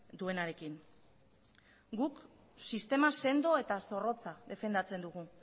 duenarekin guk sistema sendo eta zorrotza defendatzen dugu